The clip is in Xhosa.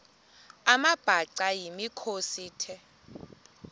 amabhaca yimikhosi the